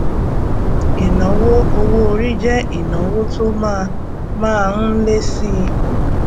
ìnáwó owó orí jẹ ìnáwó tó má má ń lé síi